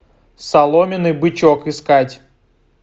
соломенный бычок искать